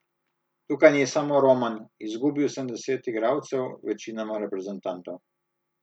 Tukaj ni samo Roman, izgubil sem deset igralcev, večinoma reprezentantov.